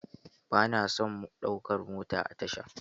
Ba na son ɗaukar mota a tasha.